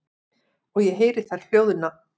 Og ég heyri þær hljóðna.